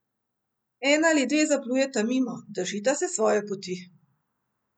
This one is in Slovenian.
Ena ali dve zaplujeta mimo, držita se svoje poti.